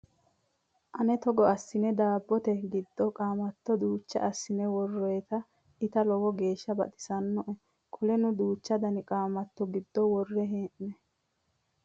Ane togo assine daabbote giddo qaamatto duucha assine woroyiita ita lowo geeshsha baxisannoe. Qoleno duuchu dani qaamatto giddo worre hee'noyi.